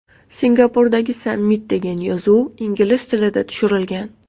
Singapurdagi sammit” degan yozuv ingliz tilida tushirilgan.